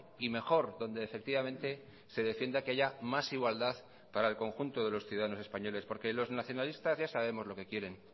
y mejor donde efectivamente se defienda que haya más igualdad para el conjunto de los ciudadanos españoles porque los nacionalistas ya sabemos lo que quieren